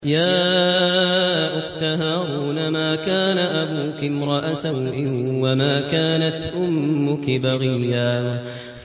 يَا أُخْتَ هَارُونَ مَا كَانَ أَبُوكِ امْرَأَ سَوْءٍ وَمَا كَانَتْ أُمُّكِ بَغِيًّا